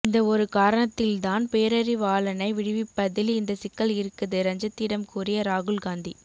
இந்த ஒரு காரணத்தில் தான் பேரறிவாளனை விடுவிப்பதில் இந்த சிக்கல் இருக்குது ரஞ்சித்திடம் கூறிய ராகுல் காந்தி